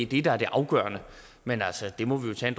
det der er det afgørende men altså det må vi jo tage